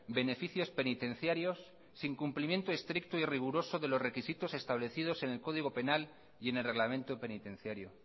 beneficios penitenciarios sin cumplimiento estricto y riguroso de los requisitos establecidos en el código penal y en el reglamento penitenciario